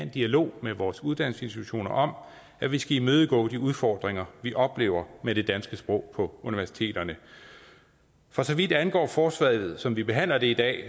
dialog med vores uddannelsesinstitutioner om at vi skal imødegå de udfordringer vi oplever med det danske sprog på universiteterne for så vidt angår forslaget som vi behandler i dag